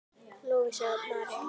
Lovísa María.